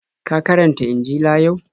Ka karanta Injila yau?